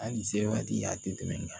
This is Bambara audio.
Hali se waati a tɛ tɛmɛ nga